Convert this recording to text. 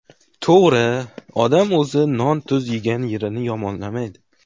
To‘g‘ri, odam o‘zi non-tuz yegan yerini yomonlamaydi.